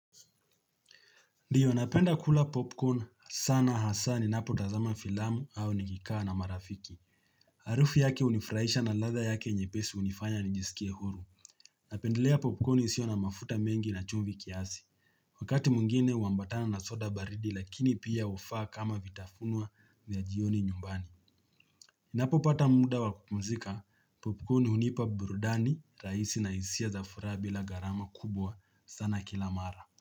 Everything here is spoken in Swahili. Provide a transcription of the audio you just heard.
Ndiyo napenda kula popcorn sana hasa ninapo tazama filamu au nikikaa na marafiki. Harufu yake hunifraisha na ladha yake nyepesi hunifanya nijisikie huru. Napendelea popcorn isiyo na mafuta mengi na chumvi kiasi. Wakati mwngine huambatana na soda baridi lakini pia hufaa kama vitafunwa vya jioni nyumbani. Ninapo pata muda wa kupumzika. Popcorn hunipa burudani rahisi na hisia za furaha bila gharama kubwa sana kila mara.